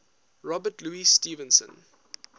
robert louis stevenson